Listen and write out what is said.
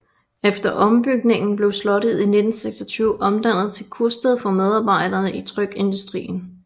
Efter ombygningen blev slottet i 1926 omdannet til kursted for medarbejdere i trykkeindustrien